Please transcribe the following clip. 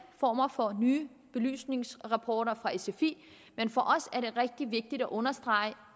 former for nye belysningsrapporter fra sfi men for os er det rigtig vigtigt at understrege